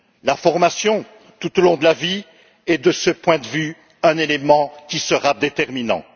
La formation tout au long de la vie est, de ce point de vue, un élément qui sera déterminant.